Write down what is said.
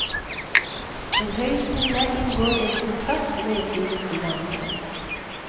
En høyskole inngår en kontrakt med sine studenter.